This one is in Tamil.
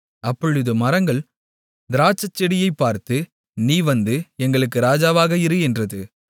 அப்பொழுது மரங்கள் திராட்சைச்செடியைப் பார்த்து நீ வந்து எங்களுக்கு ராஜாவாக இரு என்றது